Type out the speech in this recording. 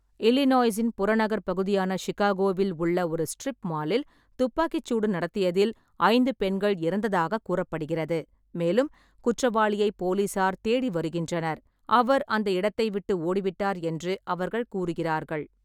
இல்லினாய்ஸின் புறநகர் பகுதியான சிகாகோவில் உள்ள ஒரு ஸ்ட்ரிப் மாலில் துப்பாக்கிச் சூடு நடத்தியதில் ஐந்து பெண்கள் இறந்ததாகக் கூறப்படுகிறது, மேலும் குற்றவாளியை போலீசார் தேடி வருகின்றனர், அவர் அந்த இடத்தை விட்டு ஓடிவிட்டார் என்று அவர்கள் கூறுகிறார்கள்.